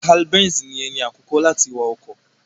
Karl B3nz ni ẹni àkọ́kọ́ láti wa ọkọ̀.